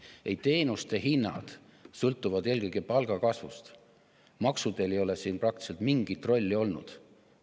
Ei, teenuste hinnad sõltuvad eelkõige palgakasvust, maksudel ei ole siin praktiliselt mingit rolli olnud.